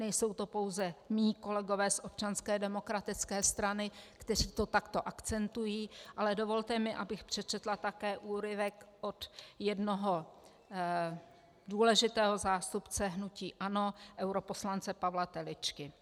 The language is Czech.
Nejsou to pouze mí kolegové z Občanské demokratické strany, kteří to takto akcentují, ale dovolte mi, abych přečetla také úryvek od jednoho důležitého zástupce hnutí ANO, europoslance Pavla Teličky.